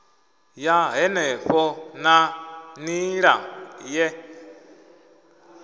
ya henefho na nila ye